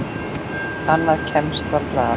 Annað kemst varla að.